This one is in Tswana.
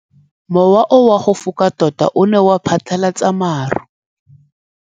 Mowa o wa go foka tota o ne wa phatlalatsa maru.